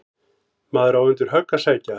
Maður á undir högg að sækja.